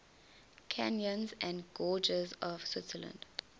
canyons and gorges of switzerland